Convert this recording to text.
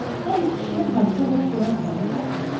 Hər iki kişi hadisə baş verən otağa daxil olub.